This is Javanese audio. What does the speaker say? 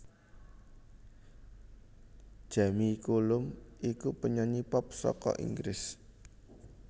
Jamie Cullum iku penyanyi pop saka Inggris